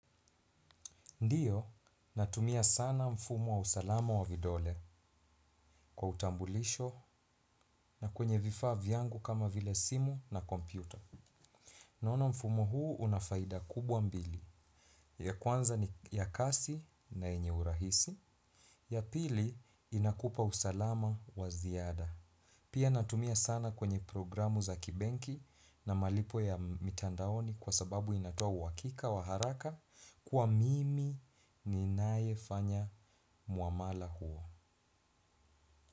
Ndiyo, natumia sana mfumo wa usalama wa vidole kwa utambulisho na kwenye vifaa vyangu kama vile simu na kompyuta. Naona mfumo huu unafaida kubwa mbili. Ya kwanza ni ya kasi na enye urahisi. Ya pili, inakupa usalama wa ziada. Pia natumia sana kwenye programu za kibenki na malipo ya mitandaoni kwa sababu inatoa uhakika, wa haraka kuwa mimi ninaye fanya muamala huo.